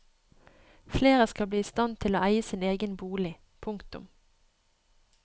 Flere skal bli i stand til å eie sin egen bolig. punktum